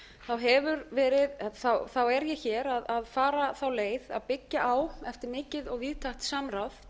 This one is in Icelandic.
hefur verið í er ég hér að fara þá leið að byggja á eftir mikið og víðtækt samráð